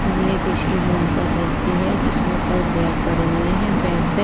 ये किसी रूम का दृश्य है जिसमें कई बेड पड़े हुए हैं बेड पे--